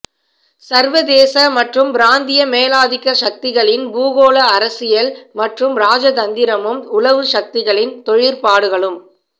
சர்வதேச மற்றும் பிராந்திய மேலாதிக்க சக்திகளின் பூகோள அரசியல் மற்றும் இராஜதந்திரமும் உளவுச் சக்திகளின் தொழிற்பாடுகளும்